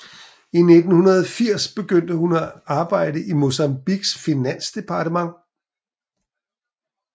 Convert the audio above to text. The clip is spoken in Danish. I 1980 begyndte hun at arbejde i Mozambiques finansdepartement